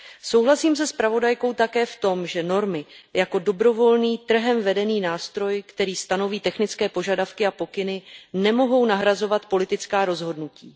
Souhlasím se zpravodajkou také v tom, že normy jako dobrovolný trhem vedený nástroj, který stanoví technické požadavky a pokyny, nemohou nahrazovat politická rozhodnutí.